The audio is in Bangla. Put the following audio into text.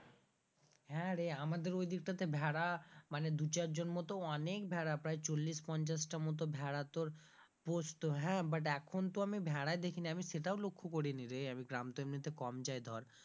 হ্যাঁরে আমাদের ঐদিকটাতে ভেড়া মানে দু চারজন মত অনেক ভেড়া প্রায় চল্লিশ পঞ্চাশ টার মতো ভেরা তোর পুষতো হ্যাঁ but এখন তো আমি ভেড়াই দেখিনি, আমি সেটাও লক্ষ্য করিনি রে আমি গ্রাম তো এমনিতে কম যায় ধর,